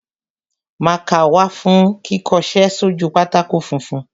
Mákà wà fún kíkọṣẹ́ sójú pátákó funfun.